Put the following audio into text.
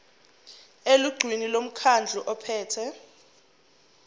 elungwini lomkhandlu ophethe